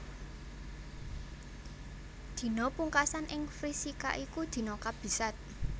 Dina pungkasan ing Vrishika iku dina kabisat